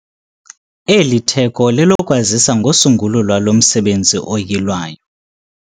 Eli litheko lelokwazisa ngosungulo lwalo msebenzi oyilwayo.